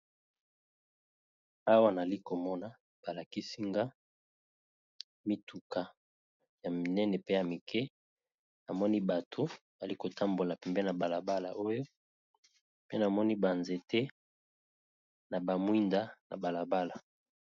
awa nali komona balakisinga mituka ya minene pe ya mike amoni bato bali kotambola pembe na balabala oyo pe namoni banzete na bamwinda na balabala